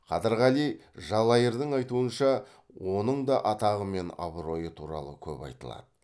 қадырғали жалайырдың айтуынша оның да атағы мен абыройы туралы көп айтылады